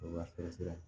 Wa sɛbɛ